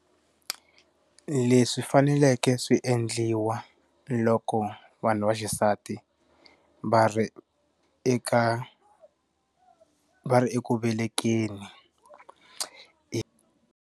Leswi faneleke swi endliwa loko vanhu va xisati va ri eka va ri eku velekeni .